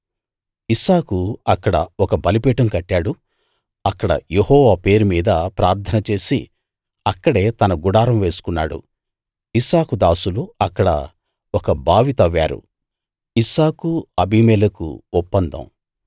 ఇస్సాకు అక్కడ ఒక బలిపీఠం కట్టాడు అక్కడ యెహోవా పేరుమీద ప్రార్థన చేసి అక్కడే తన గుడారం వేసుకున్నాడు ఇస్సాకు దాసులు అక్కడ ఒక బావి తవ్వారు